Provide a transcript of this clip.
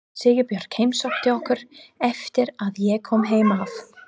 Sigurbjörg heimsótti okkur eftir að ég kom heim af